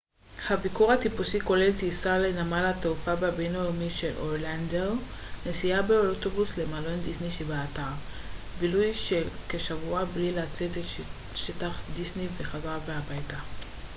הביקור הטיפוסי כולל טיסה לנמל התעופה הבינלאומי של אורלנדו נסיעה באוטובוס למלון דיסני שבאתר בילוי של כשבוע בלי לצאת את שטח דיסני וחזרה הביתה